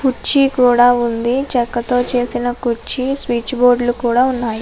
కుర్చీ కూడా ఉంది చక్క తో చేసిన కుర్చీ స్విచ్ బోర్డులు కూడా ఉన్నాయి.